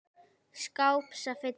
skáps að fylla hann.